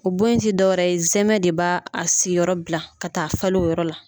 O bon in tɛ dɔwɛrɛ ye zɛmɛ de b'a a siyɔrɔ bila ka taa falen o yɔrɔ la.